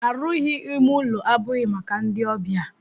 Arụghi ime ụlọ abụghị maka ndị ọbịa.